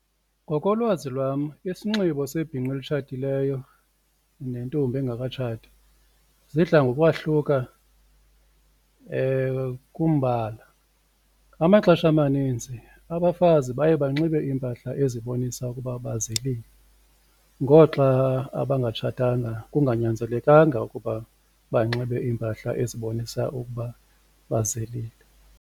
Ngokolwazi lwam isinxibo sebhinqa elitshatileyo nentombi engekatshati zidla ngokwahluka kumbala, amaxesha amanintsi abafazi baye banxibe iimpahla ezibonisa ukuba bazilile ngoxa abangatshatanga kunganyanzelekanga ukuba banxibe iimpahla ezibonisa ukuba bazilile.